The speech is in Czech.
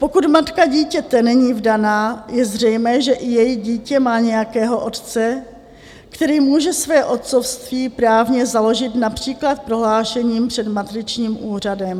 Pokud matka dítěte není vdaná, je zřejmé, že i její dítě má nějakého otce, který může své otcovství právně založit například prohlášením před matričním úřadem.